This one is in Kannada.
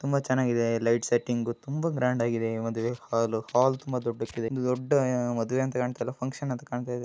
ತುಂಬಾ ಚೆನ್ನಾಗಿದೆ ಲೈಟ್ ಸ್ಟಿಂಗ್ ಕೂಡ ಇದೆ ತುಂಬಾ ಗ್ರ್ಯಾಂಡ್ ಆಗಿದೆ ಇದು ತುಂಬಾ ದೂಡ್ಡ ಹಾಲ್ ಆಗಿದೆ ಮದುವೆ ಫುಕ್ಷನ್ ಕಾಣ್ತಾ ಇದೆ.